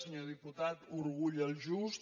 senyor diputat orgull el just